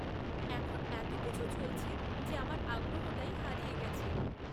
এখন এতকিছু চলছে যে আমার আগ্রহটাই হারিয়ে গেছে।